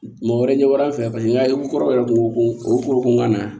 Mɔgɔ wɛrɛ ɲɛ b'a fɛ paseke n ka ko kɔrɔ yɛrɛ kun ko o ye kokɔnɔna ye